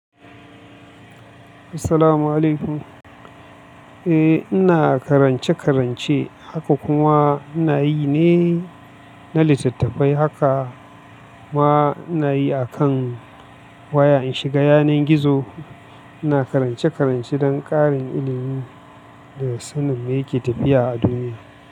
Assalamu'alaikum. Eh, ina karance-karance, haka kuma ina yi ne na littattafai. Haka ma ina yi akan waya, in shiga yanar gizo ina karance-karance don ƙarin ilimi da sanin me yake tafiya a duniya.